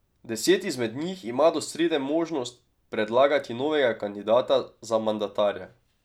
Deset izmed njih ima do srede možnost predlagati novega kandidata za mandatarja.